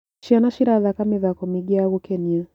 Ciana cirathaka mĩthako mĩingĩ ya gũkenia.